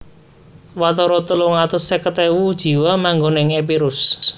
Watara telung atus seket ewu jiwa manggon ing Epirus